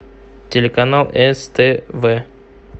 телеканал ств